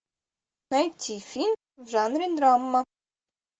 найти фильм в жанре драма